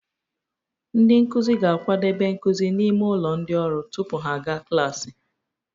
Ndị nkuzi ga-akwadebe nkuzi n'ime ụlọ ndị ọrụ tupu ha aga klaasị